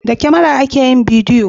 da kamara ake yin bidiyo